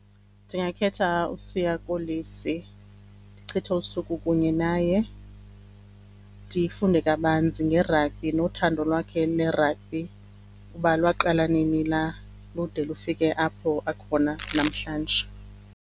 Ndingakhetha uSiya Kolisi ndichithe usuku kunye naye. Ndifunde kabanzi ngerabhi nothando lwakhe lerabhi uba lwaqala nini lude lufike apho akhona namhlanje.